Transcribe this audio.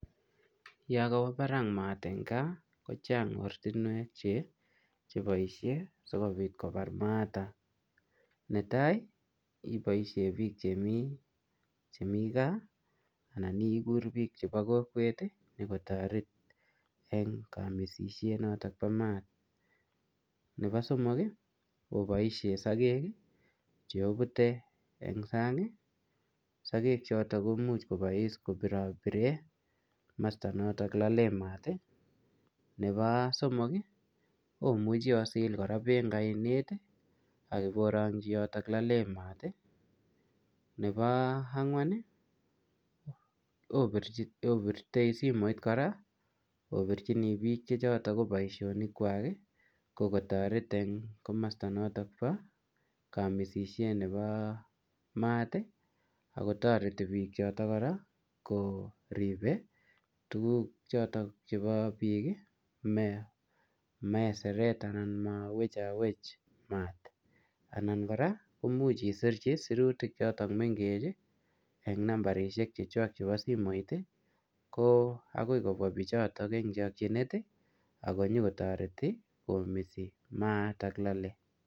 yon kowo barak maat en kaa kochang ortinwek cheboishe sikopit kobar maatak neta iboishen biik chemi gaa anan igur biik chepokokwet konyo kotoreti en kamiset notok nepo maat nepo oeng ii oboishen sogek cheobute en sang ii sogek choto komuche kobois kobirobiren komosto noto nelolen maat ii nepo somok ii omuch osil kora beek en oinet ii ak iborongyi yoto lolen maat ii nepo angwan opirte simoit kora obirchini biik chechoton ko boishonik kwak ko kotoret en kamosto noto nepo kamiset nepo maat ii akotoreti bichoto kora koripe tuguk chepo biik ii meseret anan mowechowech maat ii anan kora imuch isirchi sirutik choton meng'ech ii en nambarishek choton chepo simoitakoi kobwa bichoton en chokyinet akonyo kotoreti en kamiset noto nepo maar noto lole